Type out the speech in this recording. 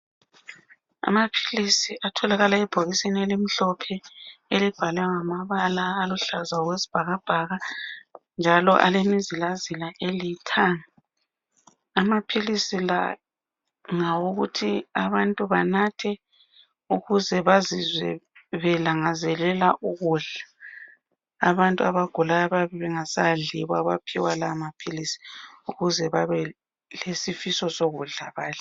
Amaphilisi atholakala ebhokisini elimhlophe elibhalwe ngamabala aluhlaza okwesibhakabhaka njalo alemizila zila elithanga. Amaphilisi la ngawokuthi abantu banathe ukuze bazizwe belangazelela ukudla .Abantu abagulayo yibo abayabe bengasadli yibo abaphiwa lawa maphilisi ukuze ma belesifiso sokudla badle.